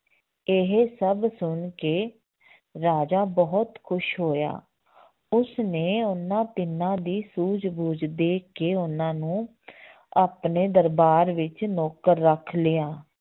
ਇਹ ਸਭ ਸੁਣ ਕੇ ਰਾਜਾ ਬਹੁਤ ਖ਼ੁਸ਼ ਹੋਇਆ ਉਸਨੇ ਉਹਨਾਂ ਤਿੰਨਾਂ ਦੀ ਸੂਝ ਬੂਝ ਦੇਖ ਕੇ ਉਹਨਾਂ ਨੂੰ ਆਪਣੇ ਦਰਬਾਰ ਵਿੱਚ ਨੌਕਰ ਰੱਖ ਲਿਆ